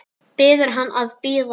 Biður hann að bíða.